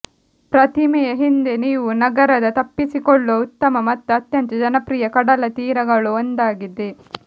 ಪ್ರತಿಮೆಯ ಹಿಂದೆ ನೀವು ನಗರದ ತಪ್ಪಿಸಿಕೊಳ್ಳುವ ಉತ್ತಮ ಮತ್ತು ಅತ್ಯಂತ ಜನಪ್ರಿಯ ಕಡಲತೀರಗಳು ಒಂದಾಗಿದೆ